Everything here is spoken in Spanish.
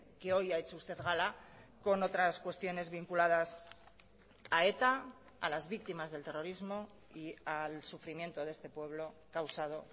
que hoy ha hecho usted gala con otras cuestiones vinculadas a eta a las víctimas del terrorismo y al sufrimiento de este pueblo causado